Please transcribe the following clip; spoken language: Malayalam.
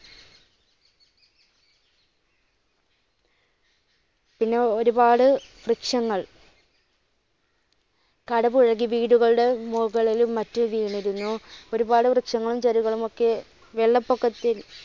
പിന്നെ ഒരുപാട് വൃക്ഷങ്ങൾ കടപൂഴകി വീടുകളുടെ മുകളിലും മറ്റും വീണിരുന്നു. ഒരുപാട് വൃക്ഷങ്ങളും ചെടികളും ഒക്കെ വെള്ളപ്പൊക്കത്തിൽ